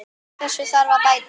Úr þessu þarf að bæta!